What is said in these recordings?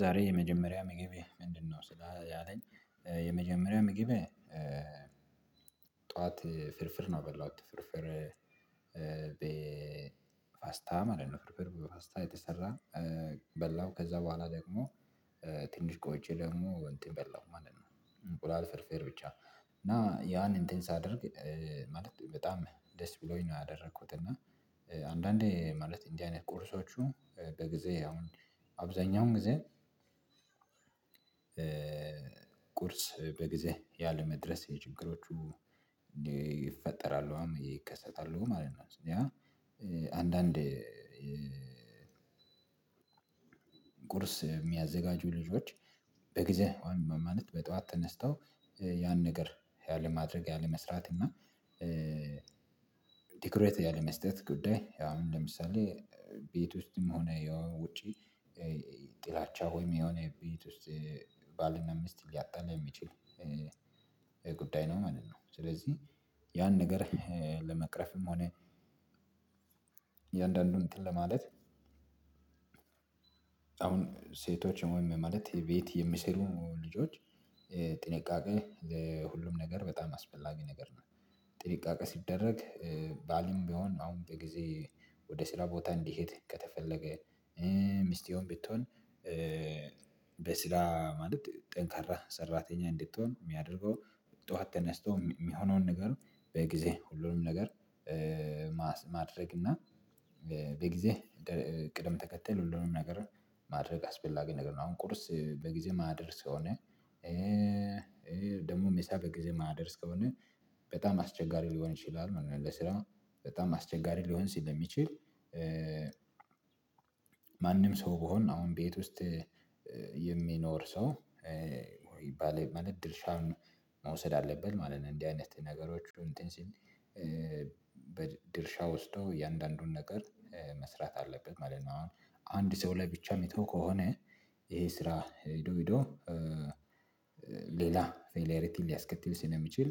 ዛሬ የመጀመሪያ ምግብህ ምንድነው? ስላ ያለኝ የመጀመሪያ ምግቤ። ጠዋት ፍርፍር ነው የበላሁት ፍርፍር በፋስታ ማለት ነው ፍርፍር በፋስታ የተሰራ። በላሁ ከዛ በኋላ ደግሞ ትንሽ ቆይቼ ደግሞ እንትን በላሁ ማለት ነው። እንቁላል ፍርፍር ብቻ እና ያንን እንትን ሳደርግ ማለት በጣም ደስ ብሎኝ ነው ያደረኩት። እና አንዳንዴ ማለት እንዲህ አይነት ቁርሶቹ በጊዜ አሁን አብዛኛውን ጊዜ። ቁርስ በጊዜ ያለመድረስ የችግሮቹ እንዲፈጠራለሁ አም ይከሰታሉ ማለት ነው። ያ አንዳንድ ቁርስ የሚያዘጋጁ ልጆች በጊዜ ማማለት በጠዋት ተነስተው ያን ነገር ያለማድረግ ያለመስራት እና። ትኩረት ያለ መስጠት ጉዳይ አሁን ለምሳሌ ቤት ውስጥም ሆነ ያው ውጪ ጥላቻ ወይም የሆነ ቤት ውስጥ ባልና ሚስት ሊያጣላ የሚችል ጉዳይ ነው ማለት ነው። ስለዚህ ያን ነገር ለመቅረፍም ሆነ እያንዳንዱን እንትን ለማለት። አሁን ሴቶች ወይም ማለት የቤት የሚሰሩ ልጆች ጥንቃቄ ለሁሉም ነገር በጣም አስፈላጊ ነገር ነው። ጥንቃቄ ሲደረግ ባልም ቢሆን አሁን በጊዜ ወደ ስራ ቦታ እንዲሄድ ከተፈለገ ሚስቴውም ቢትሆን በስራ ማለት ጠንካራ ሰራተኛ እንድትሆን የሚያደርገው ጠዋት ተነስቶ የሚሆነውን ነገር በጊዜ ሁሉንም ነገር። ማድረግ እና በጊዜ ቅደም ተከተል ሁሉንም ነገር ማድረግ አስፈላጊ ነገር ነው። አሁን ቁርስ በጊዜ የማይደርስ የሆነ ደግሞ ምሳ በጊዜ የማይደርስ ከሆነ በጣም አስቸጋሪ ሊሆን ይችላል ማለትነው። ለስራው በጣም አስቸጋሪ ሊሆን ሲል የሚችል ማንም ሰው ቢሆን አሁን ቤት ውስጥ የሚኖር ሰው ወይ ይባል ማለት ድርሻውን መውሰድ አለብን ማለት ነው። እንዲህ አይነት ነገሮች እንትን ሲል በድርሻው ውስጥ የእያንዳንዱን ነገር መስራት አለበት ማለት ነው። አሁን አንድ ሰው ላይ ብቻ የሚተው ከሆነ ይሄ ስራ ሄዶ ሄዶ ሌላ ፌለሪቲ ሊያስከትል ስለሚችል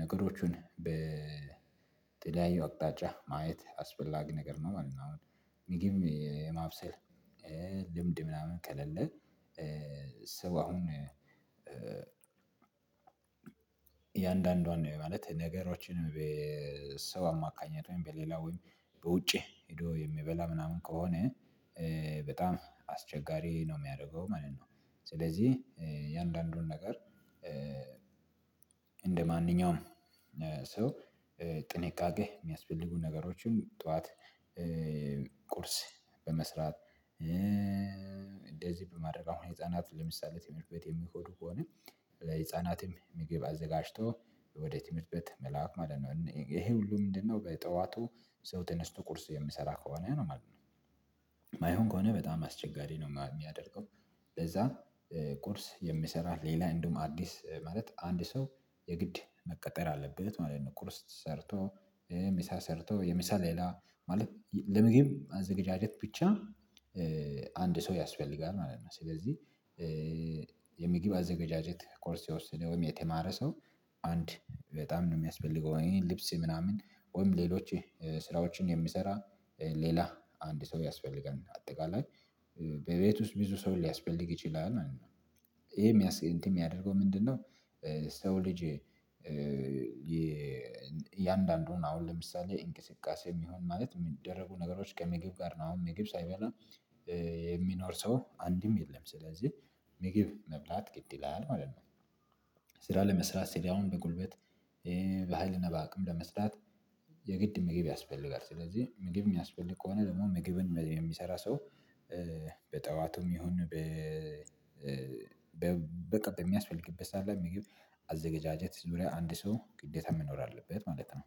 ነገሮቹን በተለያዩ አቅጣጫ ማየት አስፈላጊ ነገር ነው ማለት ነው። አሁን ምግብ የማብሰል ልምድ ምናምን ከሌለ ሰው አሁን እየአንዳንዷን ማለት ነገሮችን በሰው አማካኘት ወይም በሌላ ወይም በውጭ ሄዶ የሚበላ ምናምን ከሆነ በጣም አስቸጋሪ ነው የሚያደርገው ማለት ነው። ስለዚህ እያንዳንዱን ነገር እንደማንኛውም ሰው ጥንቃቄ የሚያስፈልጉ ነገሮች ሁሉ ጠዋት ቁርስ በመስራት እንደዚህ በማድረግ አሁን ህፃናት ለምሳሌ ትምህርት ቤት የሚሄዱ ከሆነ ለህፃናትም ምግብ አዘጋጅቶ ወደ ትምህርት መላክ ማለት ነው። ይሄ ሁሉ ምንድነው በጠዋቱ ሰው ተነስቶ ቁርስ የሚሰራ ከሆነ ነው ማለት ነው። የማይሆን ከሆነ በጣም አስቸጋሪ ነው የሚያደርገው ለዛ ቁርስ የምሰራ ሌላ እንደውም አዲስ ማለት አንድ ሰው የግድ መቀጠር አለበት ማለት ነው። ቁርስ ሰርቶ ምሳ ሰርቶ የምሳ ሌላ ማለት ለምግብ አዘገጃጀት ብቻ አንድ ሰው ያስፈልጋል ማለት ነው። ስለዚህ የሚግብ አዘጋጃጀት ኮርስ የወሰደ ወይም የተማረ ሰው አንድ በጣም ነው የሚያስፈልገው እኔ ልብስ ምናምን ወይም ሌሎች ስራዎችን የሚሰራ ሌላ አንድ ሰው ያስፈልገናል አጠቃላይ በቤት ውስጥ ብዙ ሰው ሊያስፈልግ ይችላል ማለት ነው። ይሄ የሚያስብ እንትን የሚያደርገው ምንድነው? ሰው ልጅ የእያንዳንዱን አሁን ለምሳሌ እንቅስቃሴ የሚሆን ማለት የሚደረጉ ነገሮች ከምግብ ጋር ነው። አሁን ምግብ ሳይበላ የሚኖር ሰው አንድም የለም ስለዚህ ምግብ መብላት ግድ ይላል ማለት ነው። ስራ ለመስራት ስራውን በጉልበት በሃይል እና በአቅም ለመስራት የግድ ምግብ ያስፈልጋል ስለዚህ ምግብ የሚያስፈልግ ከሆነ ደግሞ ምግብን የሚሰራ ሰው በጠዋቱም ይሁን በ በቃ የሚያስፈልግበት ሰዓት ላይ ምግብ አዘጋጀት ዙሪያ አንድ ሰው ግዴታ መኖር አለበት ማለት ነው